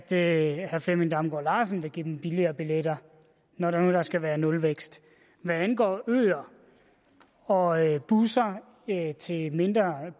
herre flemming damgaard larsen vil give dem billigere billetter når nu der skal være nulvækst hvad angår øer og busser til mindre